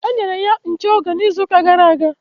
E nyere ya nche oge n'izuuka gara aga.